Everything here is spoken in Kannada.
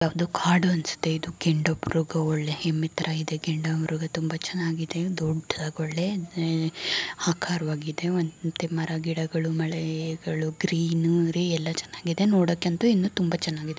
ಇದು ಒಂದು ಕಾಡು ಅನ್ನ್ಸುತ್ತೆ ಇದು ಗೆಂಡುಮೃಗ ಒಳ್ಳೆ ಎಮ್ಮೆ ತರ ಇದೆ ಗೇಂಡಾಮೃಗ ತುಂಬಾ ಚೆನ್ನಾಗಿದೆ ದೊಡ್ಡದಾಗಿ ಒಳ್ಳೆ ಎ ಆಕರವಾಗಿದೆ ಮತ್ತೆ ಮರಗಿಡಗಳು ಮಳೆಗಳು ಗ್ರೀನರಿ ಎಲ್ಲಾ ಚೆನ್ನಾಗಿದೆ ನೋಡಕಂತ ಇನ್ನೂ ತುಂಬಾ ಚೆನ್ನಾಗಿದೆ.